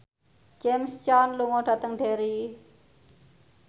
James Caan lunga dhateng Derry